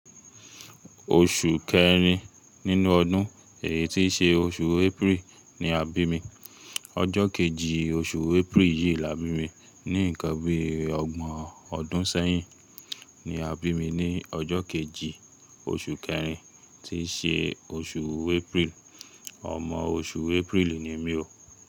Oṣù kẹrin nínú ọdún èyí tí ṣe oṣù April ni a bí mi. Ọjọ́ kejì oṣù April yìí la bí mi. Ní ǹkan bí ọgbọ̀n ọdún sẹ́yìn ni a bí mi ní ọjọ́ kejì oṣù kẹrin tí ṣe oṣù April. Ọmọ oṣù April ni mí o.